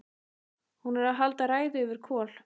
Hún er að halda ræðu yfir Kol